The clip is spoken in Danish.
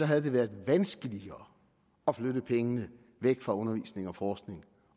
havde det været vanskeligere at flytte pengene væk fra undervisning og forskning